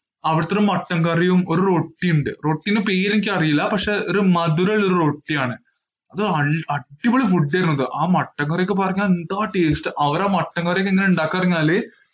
അവിടുത്തെ ഒരു മട്ടൺ കറിയും റൊട്ടിയും ഉണ്ട്. റോട്ടിന്റെ പേര് എനിക്ക് അറിയില്ല. പക്ഷെ ഒരു മധുരം ഉള്ള റൊട്ടി ആണ്. അടിപൊളി ഫുഡ് ആയിരുന്നു. ആ മട്ടൺ കറിക് എന്താ taste. അവര് ആ മട്ടൺ കറി ഒക്കെ എങ്ങനാ ഉണ്ടാകുന്നെ എന്ന് പറഞ്ഞാല്